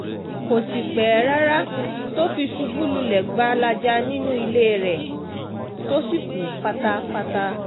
kò um sì pẹ́ rárá tó fi ṣubú lulẹ̀ um gbalaja nínú ilé rẹ̀ tó sì kú pátápátá